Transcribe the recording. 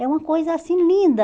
É uma coisa assim linda.